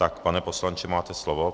Tak, pane poslanče, máte slovo.